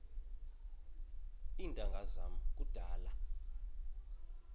iintanga zam kudala